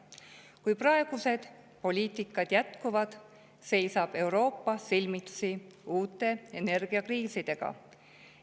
Kui praegused poliitikad jätkuvad, seisab Euroopa silmitsi uute energiakriisidega.